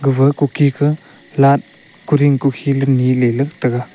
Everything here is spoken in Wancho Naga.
gapha kuki ka light kuring kukhi le nilele taiga.